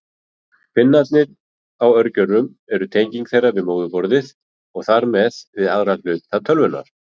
Pinnarnir á örgjörvum eru tenging þeirra við móðurborðið og þar með við aðra hluta tölvunnar.